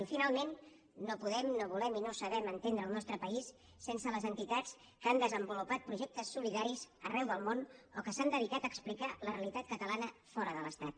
i finalment no podem no volem i no sabem entendre el nostre país sense les entitats que han desenvolupat projectes solidaris arreu del món o que s’han dedicat a explicar la realitat catalana fora de l’estat